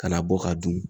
Kana bɔ ka dun